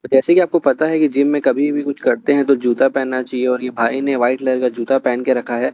जैसे कि आपको पता है कि जिम में कभी भी कुछ करते हैं तो जूता पहनना चाहिए और ये भाई ने व्हाइट कलर जूता पहन के रखा है।